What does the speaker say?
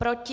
Proti?